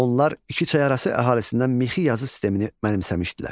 Onlar iki çay arası əhalisindən mixi yazı sistemini mənimsəmişdilər.